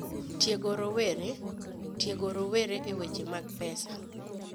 Tiego Rowere: Tiego rowere e weche mag pesa.